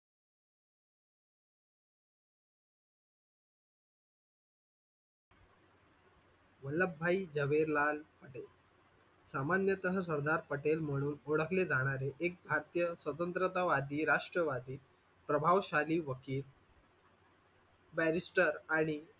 वल्लभ भाई जवाहरलाल पटेल सामान्यतः सरदार पटेल म्हणून ओळखले जाणारे एक भारतीय स्वतंत्रतावादी राष्ट्रवादी प्रभावशाली वकील barrister आणि,